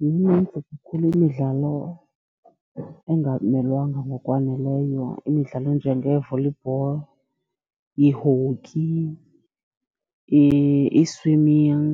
Minintsi kakhulu imidlalo engamelwanga ngokwaneleyo. Imidlalo enjengee-volleyball, ii-hockey, ii-swimming,